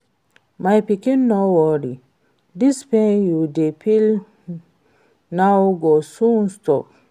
My pikin no worry, dis pain you dey feel now go soon stop